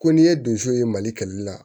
Ko n'i ye donso ye mali kɛlɛli la